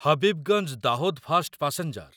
Habibganj Dahod fast passenger